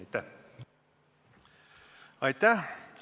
Aitäh!